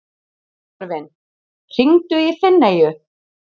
Sigurvin, hringdu í Finneyju.